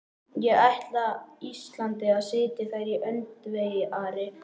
Ég ætla Íslandi að sitja þar í öndvegi, Ari!